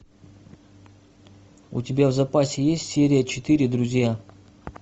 у тебя в запасе есть серия четыре друзья